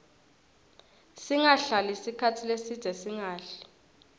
singahlali sikhatsi lesidze singadli